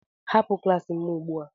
Hapụ klas m ugbu a!